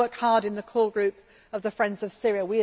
I work hard in the core group of the Friends of Syria.